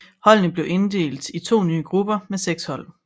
Holdene blev inddelt i to nye grupper med seks hold